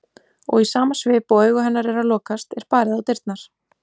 Og í sama svip og augu hennar eru að lokast er barið á dyrnar.